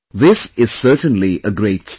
This is certainly a great start